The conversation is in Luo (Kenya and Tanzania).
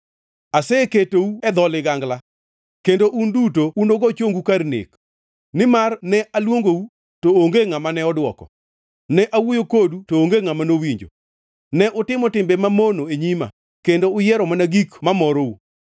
Aseketou e dho ligangla, kendo un duto unugo chongu kar nek; nimar ne aluongou, to onge ngʼama ne odwoko, ne awuoyo kodu to onge ngʼama nowinjo. Ne utimo timbe mamono e nyima, kendo uyiero mana gik mamorou.”